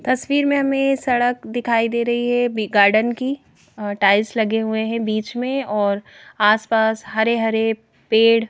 तस्वीर में हमें सड़क दिखाई दे रही है बी गार्डन की टाइल्स लगे हुए हैं बीच में और आसपास हरे-हरे पेड़--